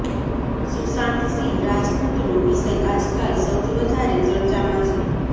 સુશાંત સિંહ રાજપૂતનો વિષય આજકાલ સૌથી વધારે ચર્ચામાં છે